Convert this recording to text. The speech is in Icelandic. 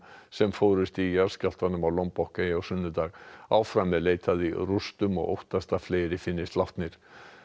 sem fórust í jarðskjálftanum á Lombok eyju á sunnudag áfram er leitað í rústum og óttast að fleiri finnist látnir